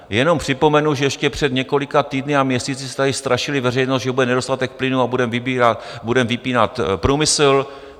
Jenom připomenu, že ještě před několika týdny a měsíci jste tady strašili veřejnost, že bude nedostatek plynu a budeme vypínat průmysl.